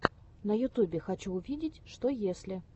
на ютубе хочу увидеть что если